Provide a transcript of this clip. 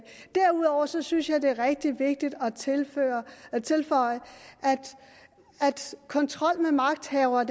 derudover synes synes jeg at det er rigtig vigtigt at tilføje at kontrol med magthavere